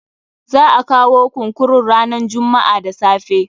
Za a kawo kunkurun ranan jummu'a da safe.